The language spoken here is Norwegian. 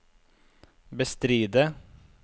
bestride